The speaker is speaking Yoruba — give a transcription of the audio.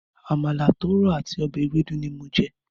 Àmàlà tó rọ̀ àti ọbẹ̀ ewédú ni mo jẹ.